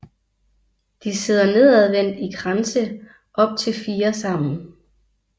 De sidder nedadvendt i kranse op til fire sammen